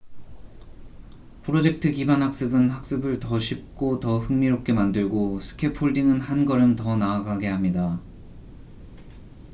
프로젝트 기반 학습은 학습을 더 쉽고 더 흥미롭게 만들고 스캐폴딩은 한 걸음 더 나아가게 합니다